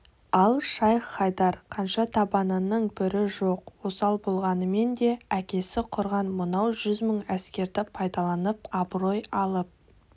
ал шайх-хайдар қанша табанының бүрі жоқ осал болғанмен де әкесі құрған мынау жүз мың әскерді пайдаланып абырой алып